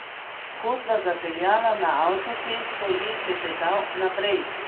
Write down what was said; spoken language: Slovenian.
Ko sva zapeljala na avtocesto, je klepetal naprej.